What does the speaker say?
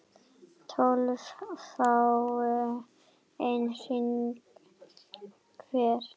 tólf fái einn hring hver